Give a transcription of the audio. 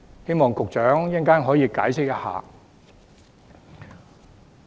希望局長稍後解釋一下。